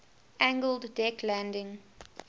angled deck landing